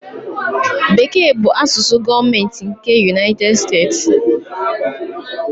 Bekee bụ asụsụ gọọmentị nke United States.